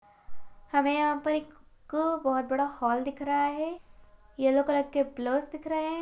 हमें यहाँ पर एक बहुत बड़ा हॉल दिख रहा है येलो कलर के पिल्लर्स दिख रहे है।